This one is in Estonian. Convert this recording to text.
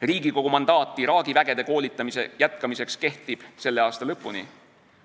Riigikogu mandaat Iraagi vägede koolitamise jätkamiseks kehtib selle aasta lõpuni.